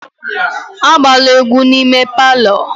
Agbala egwu n'ime palọ!